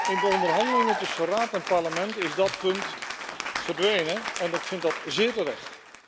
In de onderhandelingen tussen Raad en Parlement is dat punt verdwenen en ik vind dat zeer terecht.